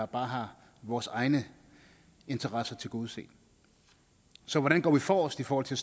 bare har vores egne interesser tilgodeset så hvordan går vi forrest i forhold til